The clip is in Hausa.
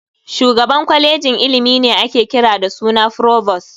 Shugaban kwalejin ilimi ne ake kira da suna "Frovost".